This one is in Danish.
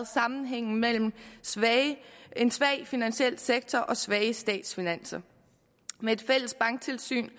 sammenhængen mellem en svag finansiel sektor og svage statsfinanser med et fælles banktilsyn